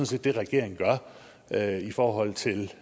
set det regeringen gør i forhold til